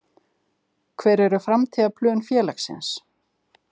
Hver eru framtíðarplön félagsins?